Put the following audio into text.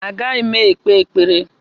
Agaghị m ekpe ekpere